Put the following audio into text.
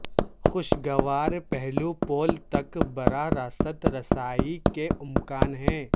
خوشگوار پہلو پول تک براہ راست رسائی کے امکان ہے